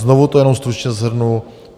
Znovu to jenom stručně shrnu.